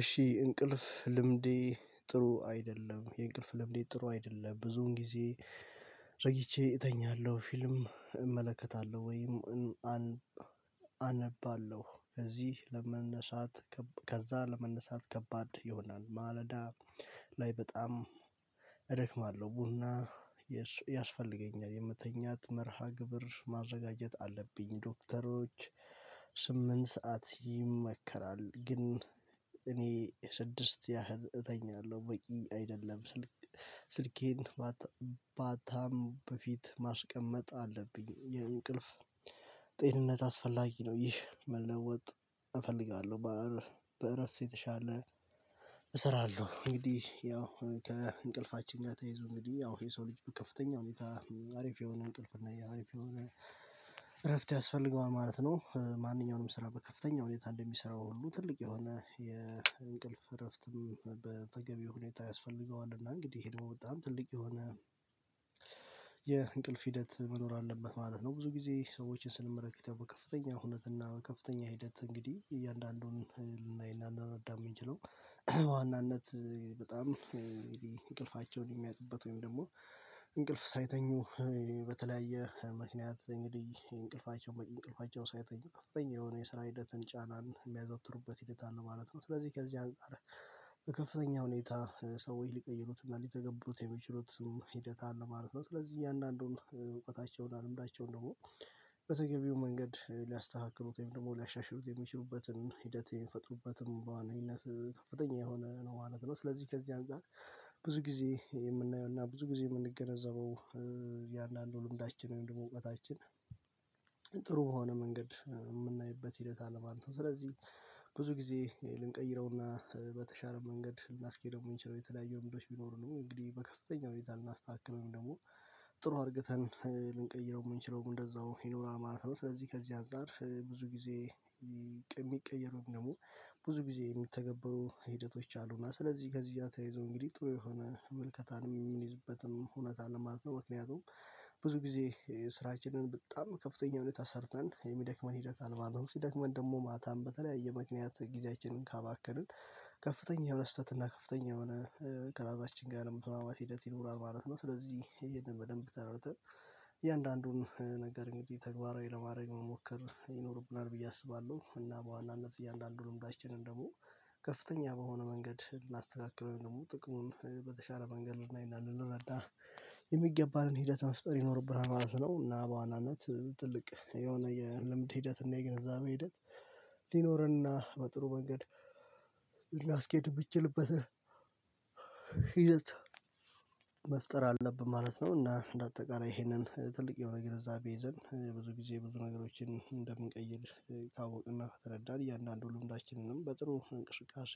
እሺ እንቅልፍ ልምዴ ጥሩ አይደለም የእንቅልፍ ልምዴ ጥሩ አይደለም ብዙን ጊዜ። ቆይቸ እተኛለሁ ፊልም እመለከታለሁ ወይም አነባለሁ ከዚህ ለመነሳት። ከዛ ለመነሳት ከባድ ይሆናል ማለዳ ላይ በጣም እደክማለሁ። ቡና ያስፈልገኛል የመተኛት መርሃ ግብር ማዘጋጀት አለብኝ። ዶክተሮች ስምንት ሰዓት ይመከራል። ግን እኔ ስድስት ያህል እተኛለሁ በቂ አይደለም። ስልክ ስልኬን ማታም በፊት ማስቀመጥ አለብኝ። የእንቅልፍ ጤንነት አስፈላጊ ነው። ይህ መለወጥ እፈልጋለሁ በእረፍት የተሻለ እሰራለሁ። እንግዲህ ያው ከእንቅልፋችን ጋር ተይዞ እንግዲህ ያው የሰው ልጅ ከፍተኛ ሁኔታ አሪፍ የሆነ እንቅልፍ እና አሪፍ የሆነ እረፍት ያስፈልገዋል ማለት ነው። ማንኛውንም ስራ በከፍተኛ ሁኔታ እንደሚሰራው ሁሉ ትልቅ የሆነ የእንቅልፍ እረፍትም በተገቢው ሁኔታ ያስፈልገዋል። እና እንግዲህ ይሄ ደግሞ በጣም ትልቅ የሆነ የእንቅልፍ ሂደት መኖር አለበት ማለት ነው። ብዙ ጊዜ ሰዎችን ስንመለከት በከፍተኛ ሁነት እና በከፍተኛ ሂደት እንግዲህ እያንዳንዱን ላይ እና ልንረዳ የምንችለው። ዋናነት በጣም እንቅልፋቸውን የሚያጡበት ወይም ደግሞ እንቅልፍ ሳይተኙ በተለያየ ምክንያት እንግዲህ እንቅልፋቸው በቂ እንቅልፋቸን ሳይተኙ ከፍተኛ የሆነ የስራ ሂደትን ጫናን የሚያዘውትሩበት ሂደት አለ ማለት ነው። ስለዚህ ከዚህ አንፃር ከፍተኛ ሁኔታ ሰወች ሊቀይሩትና ሊተገቡት የሚችሉት ሂደት አለ ማለት ነው። ስለዚህ እያንዳንዱን እውቀታቸውን እና ልምዳቸውን ደግሞ በተገቢው መንገድ ሊያስተካክሩት ወይም ደግሞ ሊያሻሽሩት የሚችሉበትን ሂደት የሚፈጥሩበትን በዋነኝነት ከፍተኛ የሆነ ነው ማለት ነው። ስለዚህ ከዚህ አንፃር ጊዜ የምናየው እና ብዙ ጊዜ የምንገነዘበው እያንዳንዱ ልምዳችን ወይም ደግሞ እውቀታችን ጥሩ በሆነ መንገድ የምናይበት ሂደት አለ ማለት ነው። ስለዚህ ብዙ ጊዜ ልንቀይረውና በተሻለ መንገድ ልናስኬደው የምንችለው የተለያየው ምክንያት ቢኖሩንም እንግዲህ በከፍተኛ ሁኔታ ልናስተካክለው ወይንም ደግሞ ጥሩ አድርገን ልንቀይረው የምንችለው እንደዛው ይኖራል ማለት ነው። ስለዚህ ከዚህ አንፃር ብዙ ጊዜ የሚቀየር ወይም ደግሞ ብዙ ጊዜ የሚተገበሩ ሂደቶች አሉና ስለዚህ ከዚህ ጋር ተያይዘው እንግዲህ ጥሩ የሆነ መልከታን የሚይዝበትም እውነት አለ ማለት ነው። ምክንያቱም ብዙ ጊዜ ስራችንን በጣም ከፍተኛ ሁኔታ ሰርተን የሚደክመን ሂደት አለ ማለት ነው። ሲደክመን ደግሞ ማታን በተለያየ ምክነያት ጊዜያችንን ካባከንን ከፍተኛ ስህተት እና ከፍተኛ የሆነ ከራሳችን ጋር ያለመግባባት ሂደት ይኖራል ማለት ነው። ስለዚህ ይሄንን በደንብ ተረድተን እያንዳንዱን ነገር እንግዲህ ተግባራዊ ለማድረግ መሞከር ይኖርብናል ብዬ አስባለሁ። እና በዋናነት እያንዳንዱ ልምዳችንን ደግሞ ከፍተኛ በሆነ መንገድ ልናስተካክለው ወይም ደግሞ ጥቅሙን በተሻለ መንገድ ልናይና ልንረዳ የሚገባንን ሂደት መፍጠር ይኖርብናል ማለት ነው። እና በዋናነት ትልቅ የሆነ የልምድ ሂደት እና የግንዛቤ ሄደት ሊኖርና በጥሩ መንገድ የምትችልበት ሂደት መፍጠር አለብን ማለት ነው። እና እንደ አጠቃላይ ይሄንን ትልቅ የሆነ ግንዛቤ ይዘን ብዙ ጊዜ ብዙ ነገሮችን እንደምንቀይር ካወቅንና ከተረዳን እያንዳንዱ ልምዳችንንም በጥሩ እንቅስቃሴ